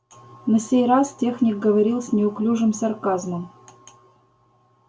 на сей раз техник говорил с неуклюжим сарказмом